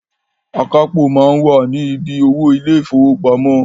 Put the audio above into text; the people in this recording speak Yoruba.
Akápò máa ń wà ni bí owó ilé ìfowópamọ́